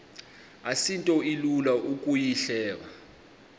asinto ilula ukuyihleba